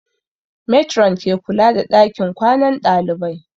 Matron ke kula da ɗakin kwanan ɗalibai